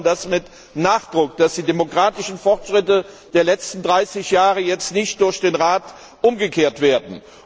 Wir fordern mit Nachdruck, dass die demokratischen Fortschritte der letzten 30 Jahre jetzt nicht durch den Rat umgekehrt werden.